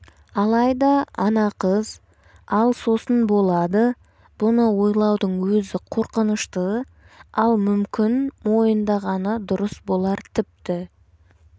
алайда ана қыз ал сосын болады бұны ойлаудың өзі қорқынышты ал мүмкін мойындағаны дұрыс болар тіпті